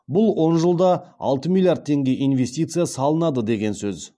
бұл он жылда алты миллиард теңге инвестиция салынады деген сөз